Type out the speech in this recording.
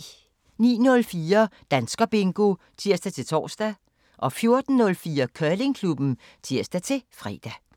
09:04: Danskerbingo (tir-tor) 14:04: Curlingklubben (tir-fre)